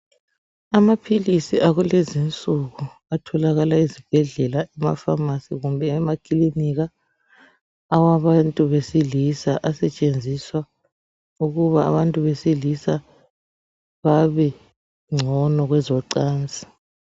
Amaphilizi akulezi insuku atholakala ezibhedlela, emapharmacy kumbe emaklinika awabantu besilisa asetshenziswa ukuba abantu besilisa babengcono kwezochansi.